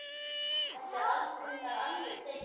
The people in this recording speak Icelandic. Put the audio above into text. Þetta er reyndar algjör steypa.